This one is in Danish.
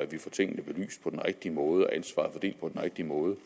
at vi får tingene belyst på den rigtige måde og ansvaret fordelt på den rigtige måde